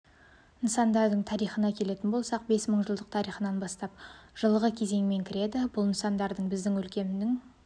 нысандардың тарихына келетін болсақ бес мың жылдық тарихынан бастап жылғы кезеңмен кіреді бұл нысандарды біздің өлкенің